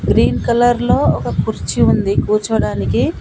Green కలర్లో ఒక కుర్చీ ఉంది కూర్చోవడానికి.